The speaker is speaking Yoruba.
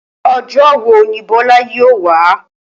Ojó wo ni Bólá yóò wá?